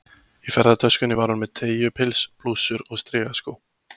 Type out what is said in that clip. Í ferðatöskunni var hún með teygju- pils, blússur og strigaskó.